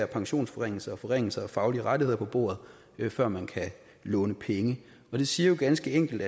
pensionsforringelser og forringelser af faglige rettigheder på bordet før man kan låne penge det siger jo ganske enkelt